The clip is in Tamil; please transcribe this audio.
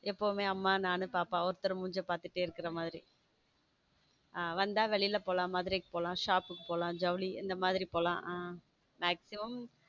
ஆமா எப்பவுமே அம்மா நான் பாப்பா ஒருத்தர் மூஞ்சிய பாத்துட்டு இருக்குற மாதிரி அவன் வந்தா வெளில போலாம் மதுரைக்கு போலாம் shop போலாம் ஜவுளி அந்த மாதிரி போலாம் maximum.